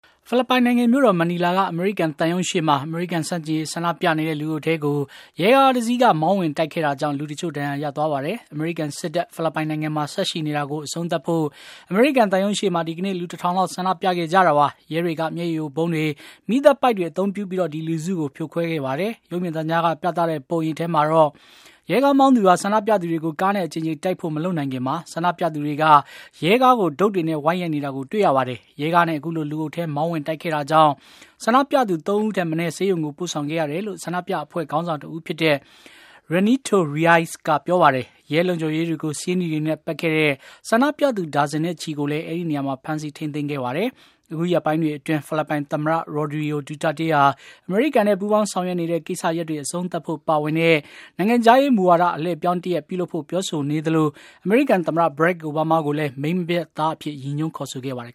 ဖိလစ်ပိုင်နိုင်ငံ မြို့တော် မနီလာက အမေရိကန်သံရုံး အပြင်ဘက်မှာ အမေရိကန်ဆန့်ကျင်ရေး ဆန္ဒပြနေတဲ့ လူအုပ်ထဲကို ရဲကားတစီးက မောင်းဝင်တိုက်ခဲ့တာကြောင့် လူအချို့ ဒဏ်ရာရသွားပါတယ်။ အမေရိကန်စစ်တပ် ဖိလစ်ပိုင်နိုင်ငံမှာ ဆက်ရှိနေတာကို အဆုံးသတ်ဖို့ အမေရိကန်သံရုံးရှေ့မှာ ဒီကနေ့ လူ ၁ ထောင် လောက် ဆန္ဒပြခဲ့ကြတာပါ။ ရဲတွေက မျက်ရည်ယိုဗုံးတွေ ၊ မီးသတ်ပိုက်တွေ အသုံးပြုပြီး ဒီလူစု ဖြိုခွဲခဲ့ပါတယ်။ ရုပ်မြင်သံကြားက ပြသတဲ့ ပုံရိပ်ထဲမှာတော့ ရဲကားမောင်းသူဟာ ဆန္ဒပြသူတွေကို ကားနဲ့အကြိမ်ကြိမ်တိုက်ဖို့ မလုပ်ခင်မှာ ဆန္ဒပြသူတွေက ရဲကားကို ဒုတ်တွေနဲ့ ဝိုင်းရိုက်နေတာကို တွေ့ရပါတယ်။ ရဲကားနဲ့ အခုလို လူအုပ်ထဲ မောင်းဝင်တိုက်ခဲ့တာကြောင့် ဆန္ဒပြသူ ၃ ဦးထက်မနည်း ဆေးရုံကို ပို့ဆောင်ခဲ့ရတယ်လို့ ဆန္ဒပြအဖွဲ့ ခေါင်းဆောင်တဦးဖြစ်တဲ့ Renato Reyes က ပြောပါတယ်။ ရဲလုံခြုံရေးတွေကို ဆေးနီတွေနဲ့ ပက်ခဲ့တဲ့ ဆန္ဒပြသူ ဒါဇင်နဲ့ချီကိုလည်း အဲဒီနေရာမှာ ဖမ်းဆီးထိန်းသိမ်းခဲ့ပါတယ်။ အခုရက်ပိုင်းတွေအတွင်း ဖိလစ်ပိုင်သမ္မတ Rodrigo Duterte ဟာ အမေရိကန်နဲ့ ပူးပေါင်းဆောင်ရွက်နေတဲ့ ကိစ္စရပ်တွေ အဆုံးသတ်ဖို့ပါဝင်တဲ့ နိုင်ငံခြားရေးမူဝါဒ အလှည့်အပြောင်းတရပ် ပြုလုပ်ဖို့ ပြောဆိုနေသလို အမေရိကန်သမ္မတ Barack Obama ကိုလည်း မိန်းမပျက် သား အဖြစ် ရည်ညွှန်းခေါ်ဆိုခဲ့ပါတယ်